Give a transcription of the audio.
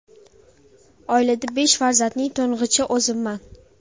Oilada besh farzandning to‘ng‘ichi o‘zimman.